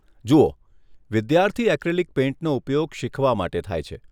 જુઓ, વિદ્યાર્થી એક્રિલિક પેઇન્ટનો ઉપયોગ શીખવા માટે થાય છે.